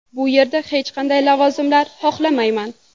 Bu yerda hech qanday lavozimlar xohlamayman.